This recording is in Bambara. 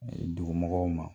Dugu mɔgɔw ma.